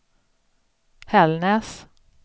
Hällnäs